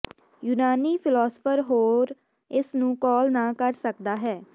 ਯੂਨਾਨੀ ਫ਼ਿਲਾਸਫ਼ਰ ਹੋਰ ਇਸ ਨੂੰ ਕਾਲ ਨਾ ਕਰ ਸਕਦਾ ਹੈ